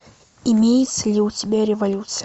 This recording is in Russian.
имеется ли у тебя революция